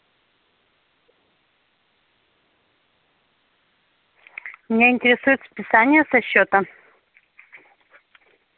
меня интересуют списания со счета